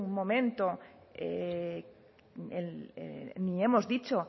momento ni hemos dicho